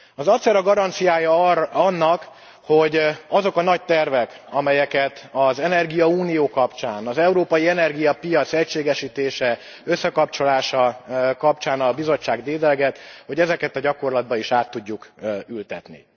Az ACER a garanciája annak, hogy azokat a nagy terveket, amelyeket az energiaunió kapcsán, az európai energiapiac egységesítése, összekapcsolása kapcsán a Bizottság dédelget, a gyakorlatba is át tudjuk ültetni.